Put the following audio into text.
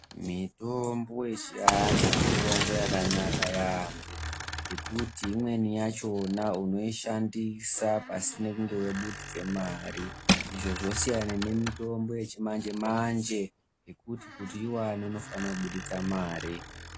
Mitombo yechiantu mitombo yakanaka yaamho, ngekuti imweni yachona unoishandisa pasina kunge wabudisa mari, izvi zvosiyana nemitombo yechimanje-manje, yekuti kuti uyiwane unofanire kubudise mare.